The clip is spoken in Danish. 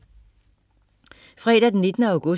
Fredag den 19. august